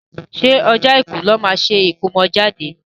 ṣé ọjọ́ Àìkú ní wọ́n máa ṣe ìkómọjáde?